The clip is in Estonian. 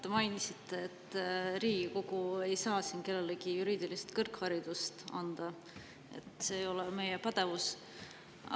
Te mainisite, et Riigikogu ei saa siin kellelegi juriidilist kõrgharidust anda, see ei ole meie pädevus.